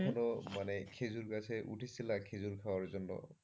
বলো মানে খেজুর গাছে উঠেছিলে খেজুর খাওয়ার জন্য।